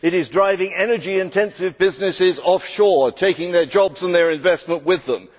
It is driving energy intensive businesses offshore, taking their jobs and their investment with them.